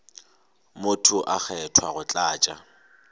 motho a kgethwa go tlatša